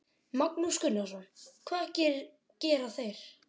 Magnús Gunnarsson: Hvað gera þeir?